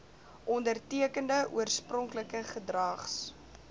ondertekende oorspronklike gedrags